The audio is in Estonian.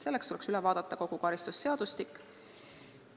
Selleks tuleks üle vaadata kogu karistusseadustik.